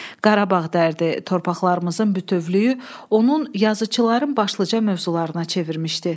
Qarabağ dərdi, torpaqlarımızın bütövlüyü onun yazıçılığın başlıca mövzularına çevirmişdi.